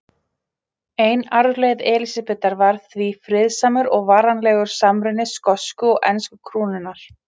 Ein arfleifð Elísabetar var því friðsamur og varanlegur samruni skosku og ensku krúnanna.